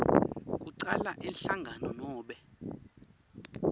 kucala inhlangano nobe